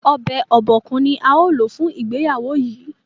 Obokun ni Gift ní ào ló fún ìgbéyàwó yí.